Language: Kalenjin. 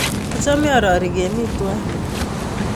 Achame aroryei kemi twai